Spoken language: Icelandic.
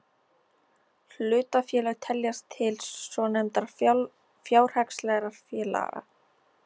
Hlutafélög teljast til svonefndra fjárhagslegra félaga.